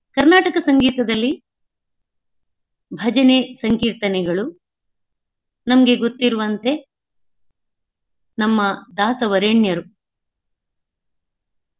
ಕರ್ನಾಟ ಸಂಗೀತದಲ್ಲಿ ಭಜನೆ ಸಂಕೀರ್ತನೆಗಳು ನಮ್ಗೆ ಗೊತ್ತಿರುವಂತೆ ನಮ್ಮ ದಾಸವರೇಣ್ಯರು.